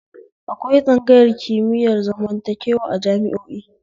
Akwai tsangayar kimiyar zamantakewa a jami'o'i